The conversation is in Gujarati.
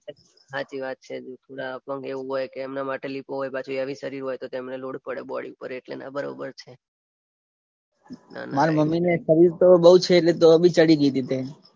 હાચી વાત છે જીતુડા એમના માટે લિફ્ટો હોય આવું શરીર હોય તો તેમને લોડ પડે બોડી પાર એટલે ના બરોબર છે. મારી મમ્મીને શરીર તો બઉ છે તો બી ચડી ગઈ તી તે